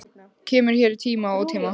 Kemur hér í tíma og ótíma.